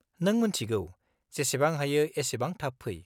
नों मोन्थिगौ, जेसेबां हायो एसेबां थाब फै।